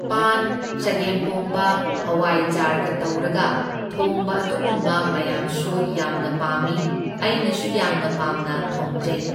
ꯄꯥꯟ, ꯆꯒꯦꯝꯄꯣꯝꯕ, ꯍꯋꯥꯏꯖꯥꯔꯒ ꯇꯧꯔꯒ ꯊꯣꯡꯕ ꯑꯗꯨꯒꯨꯝꯕ ꯃꯌꯥꯝꯁꯨ ꯌꯥꯝꯅ ꯄꯥꯝꯃꯤ, ꯑꯩꯅꯁꯨ ꯌꯥꯝꯅ ꯄꯥꯝꯅ ꯊꯣꯡꯖꯩ꯫